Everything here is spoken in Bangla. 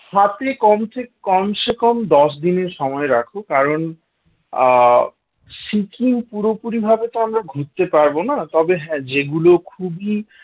সব থেকে কমসে কমসে কম দশ দিনের সময় রাখো কারণ আহ সিকিম পুরোপুরি ভাবে আমরা ঘুরতে পারবো না তবে হ্যাঁ যেগুলো খুবই